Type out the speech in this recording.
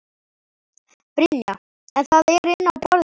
Brynja: En það er inni á borðinu?